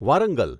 Warangal